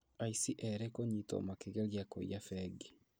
Aici erĩ kũnyitwo makĩgeria kũiya bengi